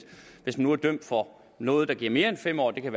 hvis man nu er dømt for noget der giver mere end fem år det kan